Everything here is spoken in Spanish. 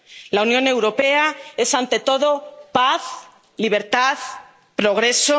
La Unión Europea es, ante todo, paz, libertad, progreso.